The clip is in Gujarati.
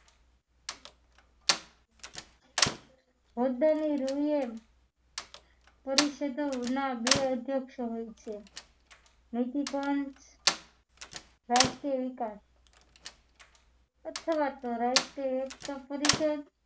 હોદ્દાની રુએ પરિષદોના બે અધ્યક્ષો હોય છે નેકીકરણ રાષ્ટ્રીય વિકાસ અથવા તો રાષ્ટ્રીય એકતા પરિષદ